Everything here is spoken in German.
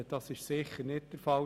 Das ist sicher nicht der Fall.